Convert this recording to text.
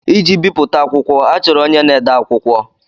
Iji bipụta akwụkwọ, achọrọ onye na-ede akwụkwọ.